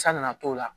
San na na t'o la